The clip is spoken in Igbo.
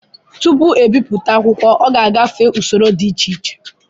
Tupu ebipụta akwụkwọ ọ ga-agafe usoro dị iche iche